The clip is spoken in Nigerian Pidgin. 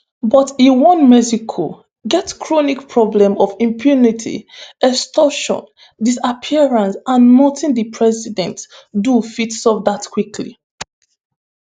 but e warn: "mexico get chronic problem of impunity extortion disappearances and notin di president do fit solve dat quickly."